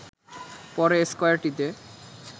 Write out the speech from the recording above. পরে স্কয়ারটিতে